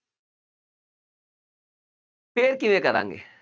ਫੇਰ ਕਿਵੇਂ ਕਰਾਂਗੇ।